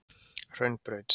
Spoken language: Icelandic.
Hraunbraut